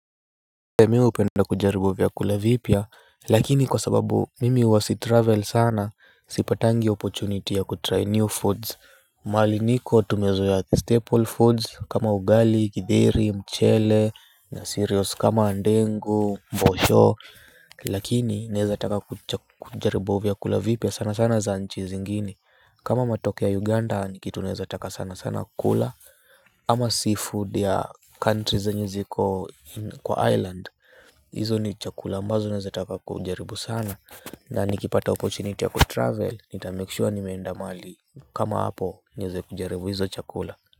Mi hupenda kujaribu vyakula vipya lakini kwa sababu mimi huwa sitravel sana sipatangi opportunity ya kutry new foods. Mahali niko tumezoea staple foods kama ugali githeri mchele na cereals kama ndengu mbosho. Lakini naeza taka kujaribu vyakula vipya sana sana za nchi zingini kama matoke ya Uganda nikitu naeza taka sana sana kukula. Ama seafood ya country zenye ziko kwa island hizo ni chakula ambazo naeza taka kujaribu sana. Na nikipata opportunity ya kutravel nitamake sure nimeenda mahali kama hapo niweze kujaribu hizo chakula.